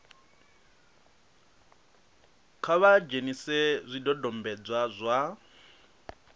kha vha dzhenise zwidodombedzwa zwa